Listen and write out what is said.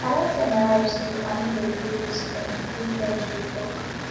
i don tell my wife say i no dey do dis thing wey church dey talk